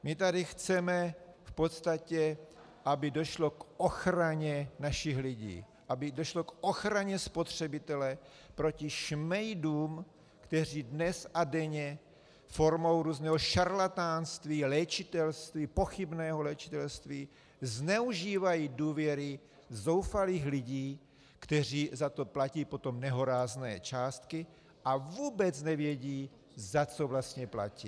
My tady chceme v podstatě, aby došlo k ochraně našich lidí, aby došlo k ochraně spotřebitele proti šmejdům, kteří dnes a denně formou různého šarlatánství, léčitelství, pochybného léčitelství zneužívají důvěry zoufalých lidí, kteří za to platí potom nehorázné částky a vůbec nevědí, za co vlastně platí.